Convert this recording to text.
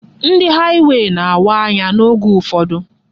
Ndị haịwey na-awa anya n'ógbè Ọfụma.